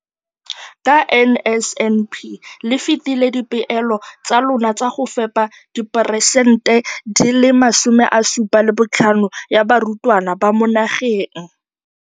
Ka NSNP le fetile dipeelo tsa lona tsa go fepa masome a supa le botlhano a diperesente ya barutwana ba mo nageng.